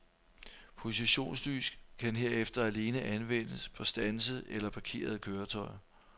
Positionslys kan herefter alene anvendes på standsede eller parkerede køretøjer.